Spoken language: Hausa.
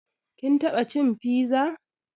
Kin taɓa cin fiza?